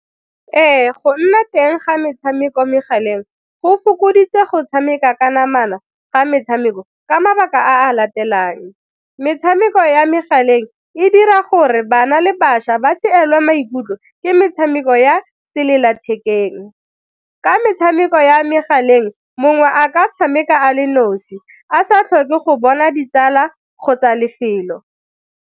Ee, go nna teng ga metshameko mo megaleng go fokoditse go tshameka ka namana ga metshameko ka mabaka a latelang, metshameko ya megaleng e dira gore bana le bašwa ba tseelwe maikutlo ke metshameko ya sellathekeng ka metshameko ya megaleng mongwe a ka tshameka a le nosi, a sa tlhoke go bona ditala kgotsa lefelo.